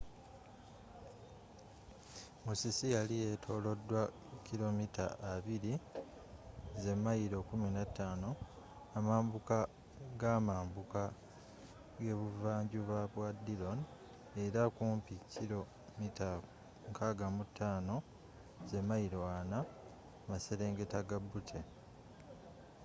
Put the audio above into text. musisi yali yetolodwa kilo mita 20mayilo 15 amambuka ga amambuka g'ebuva njuba bwa dillon era kumpi kilo mita 65 mayilo 40 maserengeta ga butte